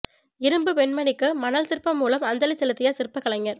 இரும்புப் பெண்மணிக்கு மணல் சிற்பம் மூலம் அஞ்சலி செலுத்திய சிற்ப கலைஞர்